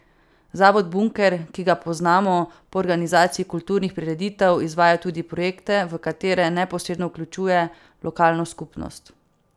Zavod Bunker, ki ga poznamo po organizaciji kulturnih prireditev, izvaja tudi projekte, v katere neposredno vključuje lokalno skupnost.